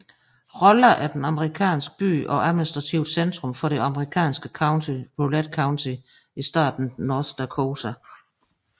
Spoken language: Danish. Rolla er en amerikansk by og administrativt centrum for det amerikanske county Rolette County i staten North Dakota